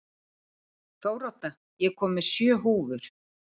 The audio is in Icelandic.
Þórodda, ég kom með sjö húfur!